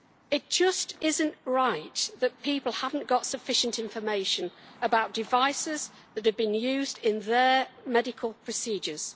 It just is not right that people have not got sufficient information about devices that have been used in their medical procedures.